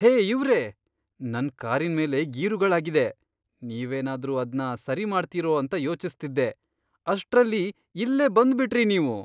ಹೇ ಇವ್ರೇ! ನನ್ ಕಾರಿನ್ಮೇಲೆ ಗೀರುಗಳಾಗಿದೆ, ನೀವೇನಾದ್ರೂ ಅದ್ನ ಸರಿ ಮಾಡ್ತೀರೋ ಅಂತ ಯೋಚಿಸ್ತಿದ್ದೆ. ಅಷ್ಟ್ರಲ್ಲಿ ಇಲ್ಲೇ ಬಂದ್ಬಿಟ್ರಿ ನೀವು!